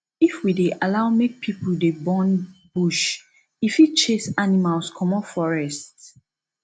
if we dey allow make people dey burn bush e fit chase animals comot forest